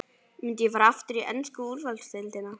Myndi ég fara aftur í ensku úrvalsdeildina?